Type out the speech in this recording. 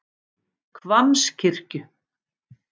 Hvammskirkju